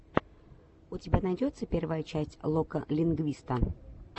у тебя найдется первая часть лока лингвиста